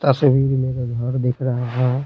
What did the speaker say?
तस्वीर मे एक दिख रहा है।